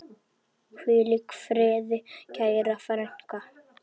Hvíl í friði, kæra frænka.